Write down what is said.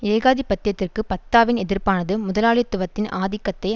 ஏகாதிபத்தியத்திற்கு ஃபத்தாவின் எதிர்ப்பானது முதலாளித்துவத்தின் ஆதிக்கத்தை